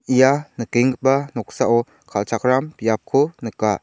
ia nikenggipa noksao kal·chakram biapko nika.